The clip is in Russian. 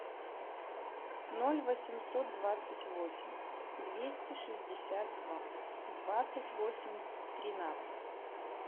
ноль восемьсот двадцать восемь двести шестьдесят два двадцать восемь тринадцать